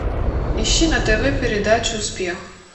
ищи на тв передачу успех